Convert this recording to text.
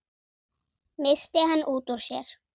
missti hann út úr sér.